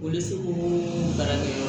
Olu seko barakɛ